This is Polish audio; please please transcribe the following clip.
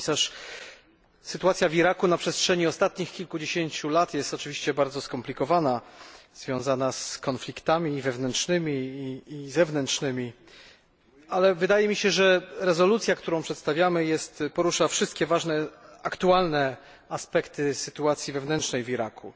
Pani Komisarz! Sytuacja w Iraku na przestrzeni ostatnich kilkudziesięciu lat jest oczywiście bardzo skomplikowana, związana z konfliktami wewnętrznymi i zewnętrznymi. Wydaje mi się jednak, że rezolucja, którą przedstawiamy, porusza wszystkie ważne aktualne aspekty sytuacji wewnętrznej w Iraku.